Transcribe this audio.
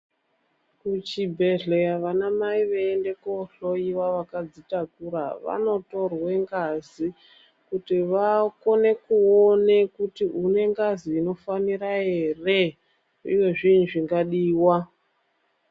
Kuchibhehleya vana mai veiende kuhloyiwa vakadzitakura vanotorwa vamotorwe ngazi kuti vakone kuona kuti une ngazi inofanira ere uye zvii zvingadiwa